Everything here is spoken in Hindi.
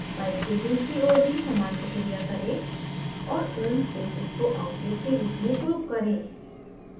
pipe के दूसरी ओर भी समान प्रक्रिया करें और उन faces को outlet के रूप में group करें